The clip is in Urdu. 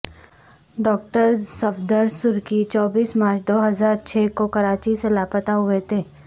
ڈاکٹر صفدر سرکی چوبیس مارچ دو ہزار چھ کو کراچی سے لاپتہ ہوئے تھے